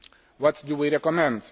What do we recommend?